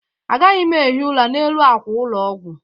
Agaghị m ehi ụra n'elu àkwà ụlọ ọgwụ.